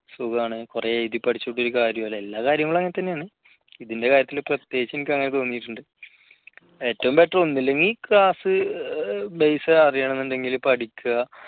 സുഖംആണ് കുറെ എഴുതി പഠിച്ചിട്ട് കാര്യമില്ല എല്ലാ കാര്യങ്ങളും അങ്ങനെ തന്നെയാണ് ഇതിൻറെ കാര്യത്തിൽ പ്രത്യേകിച്ച് എനിക്കങ്ങനെ തോന്നിയിട്ടുണ്ട്. ഏറ്റവും better ഒന്നുമില്ലെങ്കിൽ class base അറിയണമെന്നുണ്ടെങ്കിൽ പഠിക്കുക.